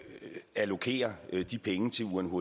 allokere de penge til unhcr